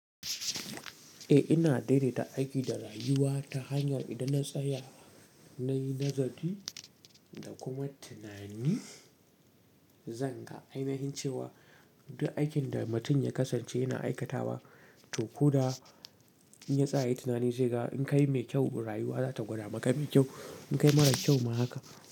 Eh ina daidaita aiki da rayuwa ta hanyar idan na tsaya nayi nazari da kuma tunani, zan ga a ma'anar cewa duk aikin da mutum ya kasance yana aikatawa to ko da ya tsaya ya yi tunani, sai ga in kai mai kyau rayuwa za ta gwada maka mai kyau. In kai marar kyau ma haka.